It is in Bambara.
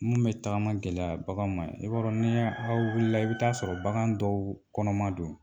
Mun bɛ tagama gɛlɛya bagan ma i b'a dɔn n'i aw wulila i bi taa sɔrɔ bagan dɔw kɔnɔma don.